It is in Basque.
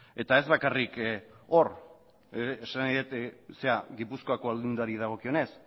eta ez bakarrik hor esan nahi dut gipuzkoako aldundiari dagokionez